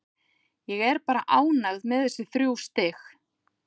Ég er bara ánægð með þessi þrjú stig.